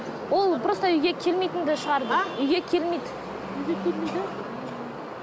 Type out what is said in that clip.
ол просто үйге келмейтінді шығарды а үйге келмейді үйге келмейді